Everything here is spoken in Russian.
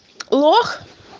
лох